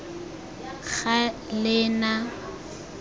galena